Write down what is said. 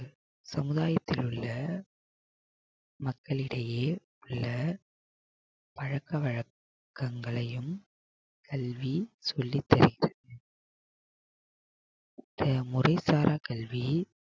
சமுதாயத்தில் உள்ள மக்களிடையே உள்ள பழக்க வழக்கங்களையும் கல்வி சொல்லித் தருகிறது. முறைசாரா கல்வி